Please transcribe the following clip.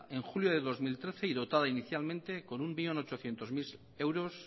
en julio de dos mil trece y dotada inicialmente con un millón ochocientos mil euros